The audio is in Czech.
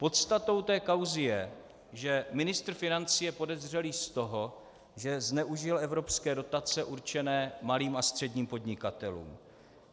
Podstatou té kauzy je, že ministr financí je podezřelý z toho, že zneužil evropské dotace určené malým a středním podnikatelům.